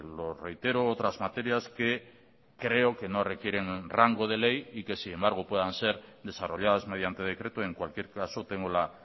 lo reitero otras materias que creo que no requieren rango de ley y que sin embargo puedan ser desarrolladas mediante decreto en cualquier caso tengo la